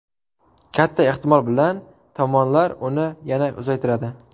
Katta ehtimol bilan tomonlar uni yana uzaytiradi.